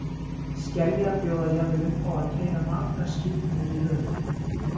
Skeljar bjóða jafnvel upp á að keyra margar skipanir í röð.